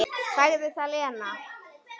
Sagði það, Lena.